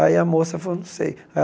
Aí a moça falou, não sei.